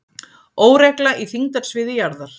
Óregla í þyngdarsviði jarðar